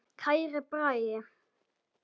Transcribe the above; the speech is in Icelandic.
Kæri Bragi.